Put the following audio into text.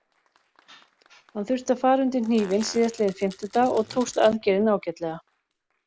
Hann þurfti að fara undir hnífinn síðastliðinn fimmtudag og tókst aðgerðin ágætlega.